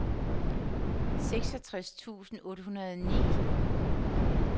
seksogtres tusind otte hundrede og ni